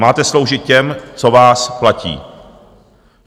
Máte sloužit těm, co vás platí.